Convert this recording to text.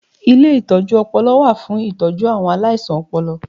Ilé ìtọjú ọpọlọ wà fún ìtọ́jú àwọn aláìsàn ọpọlọ